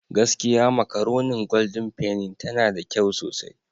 Gaskiya makaronin Golden penny tana da kyau sosai.